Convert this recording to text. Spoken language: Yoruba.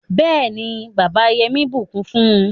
béèni bàbà Yemi bukún fún